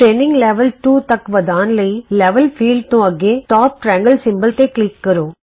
training level 2 ਤਕ ਵਧਾਉਣ ਲਈ ਲੈਵਲ ਖੇਤਰ ਤੋਂ ਅਗੇ ਉਪਰਲੇ ਤਿਕੌਣ ਚਿੰਨ੍ਹ ਤੇ ਕਲਿਕ ਕਰੋ